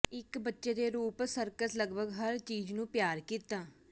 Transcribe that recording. ਇੱਕ ਬੱਚੇ ਦੇ ਰੂਪ ਸਰਕਸ ਲਗਭਗ ਹਰ ਚੀਜ਼ ਨੂੰ ਪਿਆਰ ਕੀਤਾ